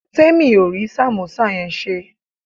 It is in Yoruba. Temi ò rí sàmósà yẹn ṣe